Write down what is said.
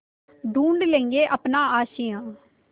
ढूँढ लेंगे अपना आशियाँ